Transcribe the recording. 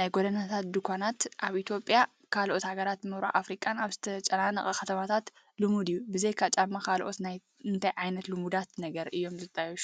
ናይ ጎደናታት ድኳናት ኣብ ኢትዮጵያን ካልኦት ሃገራት ምብራቕ ኣፍሪቃን ኣብ ዝተጨናነቓ ከተማታት ልሙድ እዩ። ብዘይካ ጫማ ካልኦት እንታይ ዓይነት ልሙዳት ነገራት እዮም ዝሽየጡ?